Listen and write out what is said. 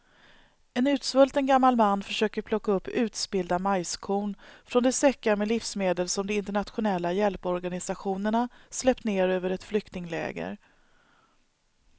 En utsvulten gammal man försöker plocka upp utspillda majskorn från de säckar med livsmedel som de internationella hjälporganisationerna släppt ner över ett flyktingläger.